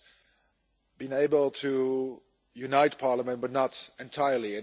have been able to unite Parliament, but not entirely.